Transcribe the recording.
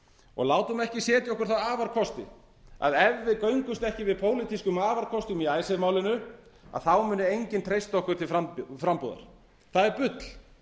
og látum ekki setja okkur þá afarkosti að ef við göngumst ekki við pólitískum afarkostum í icesave málinu þá muni enginn treysta okkur til frambúðar það er bull